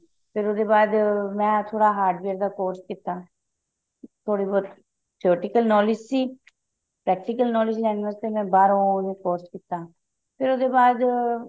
ਫ਼ੇਰ ਉਹਦੇ ਬਾਅਦ ਮੈਂ ਥੋੜਾ hardware ਦਾ course ਕੀਤਾ ਥੋੜੀ ਬਹੁਤ knowledge ਸੀ practical ਕ੍ਨੋਏਲੇਦ੍ਗੇ ਲੈਣ ਵਾਸਤੇ ਮੈਂ ਬਾਹਰੋਂ course ਕੀਤਾ ਤੇ ਉਹਦੇ ਬਾਅਦ